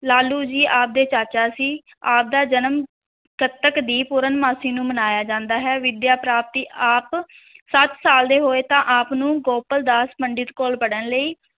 ਲਾਲੂ ਜੀ ਆਪ ਦੇ ਚਾਚਾ ਸੀ, ਆਪ ਦਾ ਜਨਮ, ਕੱਤਕ ਦੀ ਪੂਰਨਮਾਸ਼ੀ ਨੂੰ ਮਨਾਇਆ ਜਾਂਦਾ ਹੈ, ਵਿਦਿਆ ਪ੍ਰਾਪਤੀ, ਆਪ ਸੱਤ ਸਾਲ ਦੇ ਹੋਏ ਤਾਂ ਆਪ ਨੂੰ ਗੋਪਲ ਦਾਸ ਪੰਡਿਤ ਕੋਲ ਪੜ੍ਹਨ ਲਈ